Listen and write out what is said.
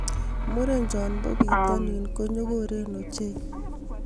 Murenchon po pitanin ko nyokoren ochei